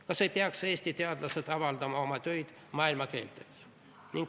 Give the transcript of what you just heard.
Kas ei peaks Eesti teadlased avaldama oma töid maailmakeeltes?